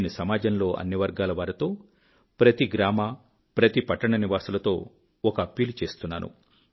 నేను సమాజంలోని అన్ని వర్గాలవారితో ప్రతి గ్రామ ప్రతి పట్టణ నివాసులతో ఒక అప్పీలు చేస్తున్నాను